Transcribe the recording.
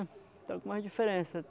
Tem algumas diferença.